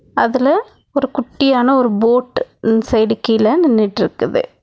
அதுல ஒரு குட்டியான ஒரு போட் இந் சைடு கீழ நின்னுட்டுருக்குது.